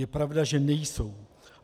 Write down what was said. Je pravda, že nejsou.